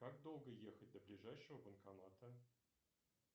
как долго ехать до ближайшего банкомата